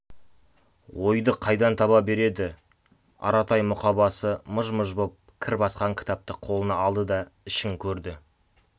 ойды қайдан таба береді аратай мұқабасы мыж-мыж боп кір басқан кітапты қолына алды да ішін көрді